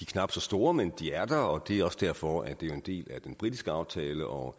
knap så store men de er der og det er også derfor at det er en del af den britiske aftale og